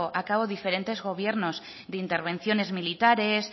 a cabo diferentes gobiernos de intervenciones militares